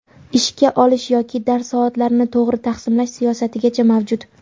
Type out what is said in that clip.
Ishga olish yoki dars soatlarini tog‘ri taqsimlash siyosatigacha mavjud.